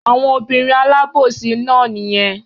Àwọn obìnrin alábòsí náà nìyẹn.